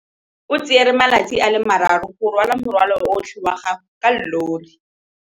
O tsere malatsi a le marraro go rwala morwalo otlhe wa gagwe ka llori.